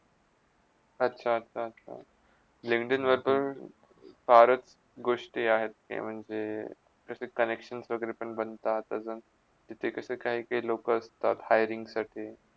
अच्छा - अच्छा - अच्छा लिंकडीनवर पण फारच गोष्टी आहेत. ते म्हणजे तिथे connections वैगरे पण बणतात अजुन तिथ कशी काही लोका असतात hiring साठी